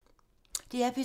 DR P2